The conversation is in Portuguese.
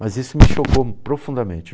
Mas isso me chocou profundamente.